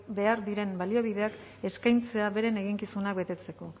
behar diren baliabideak eskaintzea beren eginkizunak betetzeko